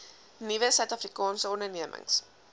nuwe suidafrikaanse ondernemings